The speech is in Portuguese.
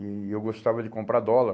E eu gostava de comprar dólar.